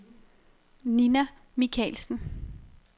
Nina Michaelsen